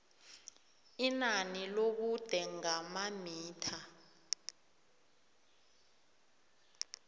inani lobude ngamamitha